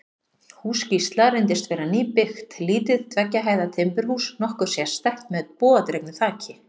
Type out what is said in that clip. Hús Gísla reyndist vera nýbyggt, lítið tveggja hæða timburhús, nokkuð sérstætt, með bogadregnu þaki.